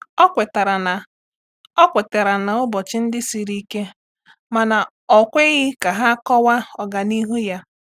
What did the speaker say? Ọ kwetara na Ọ kwetara na ụbọchị ndị siri ike mana ọ ekweghị ka ha kọwaa ọganihu ya.